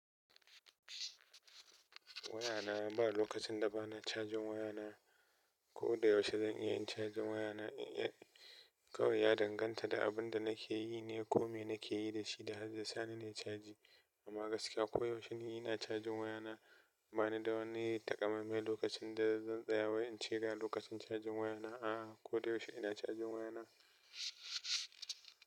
Waya na ba lokacin da ba na cajin waya na. Ko da yaushe zan iya yin cajin waya na kawai ya danganta da abin da nake yi ne ko me nake yi da shi da har zai sani nayi caji. Amma gaskiya ko yaushe ni ina cajin waya na. Ba ni da wani takamaiman lokacin da zan tsaya wai in ce ga lokacin cajin waya na. A'a, ko da yaushe ina cajin waya na.